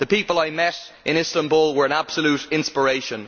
The people I met in Istanbul were an absolute inspiration.